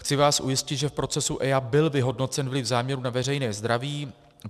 Chci vás ujistit, že v procesu EIA byl vyhodnocen vliv záměru na veřejné zdraví.